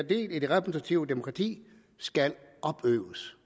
del i det repræsentative demokrati skal opøves